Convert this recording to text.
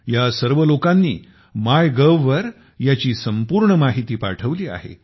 या सर्व लोकांनी माय गव्ह वर याची संपूर्ण माहिती पाठवली आहे